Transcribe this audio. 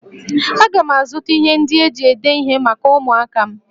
Aga m azụta ihe ndị eji ede ihe maka ụmụaka m